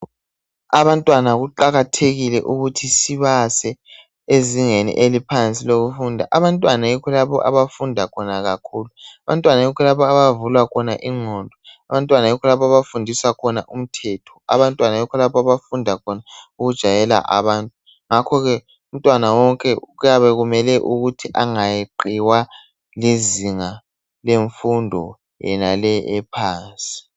Abantwana kuqakathekile ukuthi sibase ezingeni eliphansi lokufunda. Abantwana yikho lapho abafunda khona kakhulu. Abantwana yikho lapho abavulwa khona ingqondo. Abantwana yikho lapho abafundiswa khona umthetho. Abantwana yikho lapho abafunda khona ukujayela abanye, ngakho ke umntwana wonke kuyabe kumele ukuthi angayeqiwa lizinga lemfundo yenale ephansi